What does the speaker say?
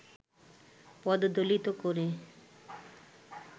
পদদলিত করে